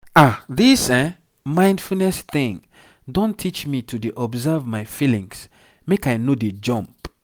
ah this mindfulness thing don teach me to dey observe my feelings make i no dey jump.